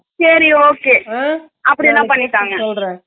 சரி okay உம்